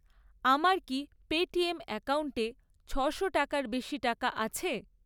আমার কি পেটিএম অ্যাকাউন্টে ছশো টাকার বেশি টাকা আছে?